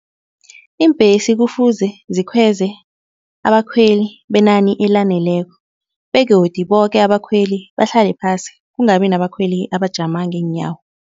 Iimbhesi kufuze zikhweze abakhweli benani elaneleko begodu boke abakhweli bahlale phasi kungabi nabakhweli abajama ngeenyawo.